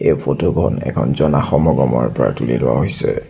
এই ফটোখন এখন জনাসমগমৰ পৰা তুলি লোৱা হৈছে।